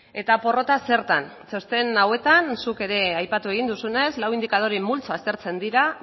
eta porrota zertan txosten hauetan zuk ere aipatu egin duzunez lau indikadore multzo aztertzen dira